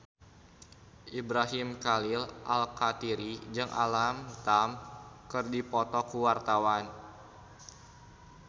Ibrahim Khalil Alkatiri jeung Alam Tam keur dipoto ku wartawan